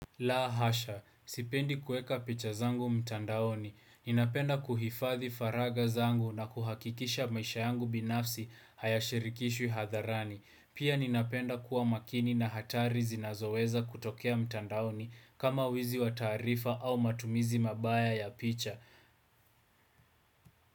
La hasha, sipendi kuweka picha zangu mtandaoni. Ninapenda kuhifathi faraga zangu na kuhakikisha maisha yangu binafsi hayashirikishwi hadharani. Pia ninapenda kuwa makini na hatari zinazoweza kutokea mtandaoni, kama wizi wataarifa au matumizi mabaya ya picha.